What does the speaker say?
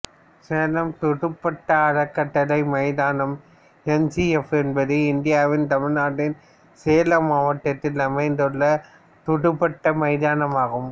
சேலம் துடுப்பாட்ட அறக்கட்டளை மைதானம் எஸ்சிஎஃப் என்பது இந்தியாவின் தமிழ்நாட்டின் சேலம் மாவட்டத்தில் அமைந்துள்ள ஒரு துடுப்பாட்ட மைதானமாகும்